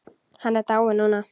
Hann er dáinn núna.